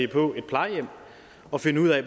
på et plejehjem at finde ud af